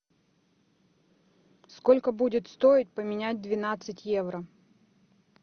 сколько будет стоить поменять двенадцать евро